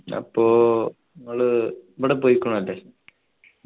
അപ്പൊ ഇങ്ങള് ഇവിടെ പോയ്കുണു ല്ലേ